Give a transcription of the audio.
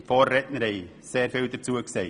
die Vorredner haben sehr vieles dazu gesagt.